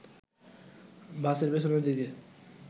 বাসের পেছনের দিকে